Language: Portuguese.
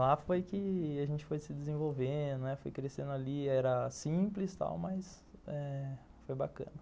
Lá foi que a gente foi se desenvolvendo, foi crescendo ali, era simples, tal, mas, eh foi bacana.